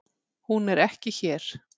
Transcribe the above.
Hún er ekki hér.